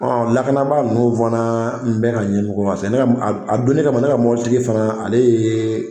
Lakanabaa ninnu fana bɛna a donnin kama ne ka mobilitigi fana ale ye